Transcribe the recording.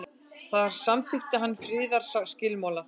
þar samþykkti hann friðarskilmála